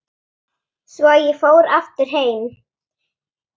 Svo ég fór aftur heim.